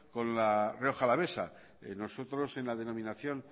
con la rioja alavesa nosotros en la denominación